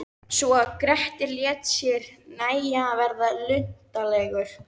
Svo að Grettir lét sér nægja að verða luntalegur.